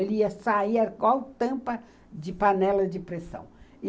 Ele ia sair igual tampa de panela de pressão.